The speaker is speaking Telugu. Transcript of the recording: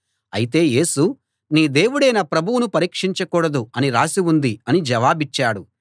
అయితే యేసు నీ దేవుడైన ప్రభువును పరీక్షించకూడదు అని రాసి ఉంది అని జవాబిచ్చాడు